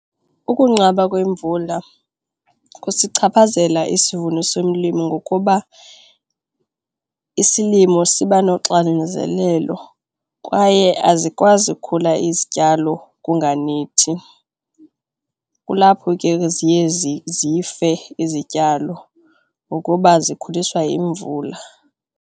Ukunqaba kwemvula kusichaphazela isivuno somlimi ngokuba isilimo siba noxinzelelo kwaye azikwazi ukukhula izityalo kunganethi, kulapho ke ziye zife izityalo ukuba zikhuliswa yimvula.